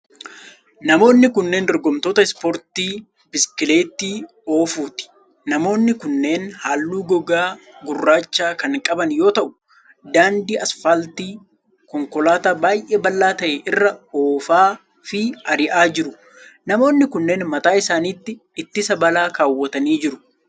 Namoonni kunneen dorgomtoota ispoortii biskileettii oofuuti. Namoonni kunneen haalluu gogaa gurraacha kan qaban yoo ta'u, daandii asfaaltii konkolaataa baay'ee bal'aa ta'e irraa oofaa fi ari'aa jiru. Namoonni kunneen mataa isaanitti ittisa balaa kaawwatanii jiru.